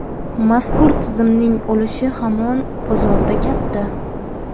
Mazkur tizimning ulushi hamon bozorda katta.